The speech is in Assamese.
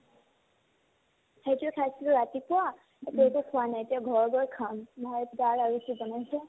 সেইটো খাইছিলো ৰাতিপুৱা এতিয়া একো খোৱা নাই এতিয়া ঘৰত গৈ খাম মই তিতাকেৰেলা ভাজিছো ডাৰকে